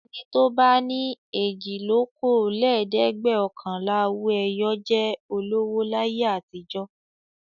Ẹni tó bá ní èjìlókòólẹ́ẹ̀dẹ́gbẹ́ọ̀kànlá Owó-ẹyọ jẹ́ olówó láyé àtijọ́.